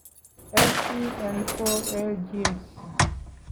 Scn4a genes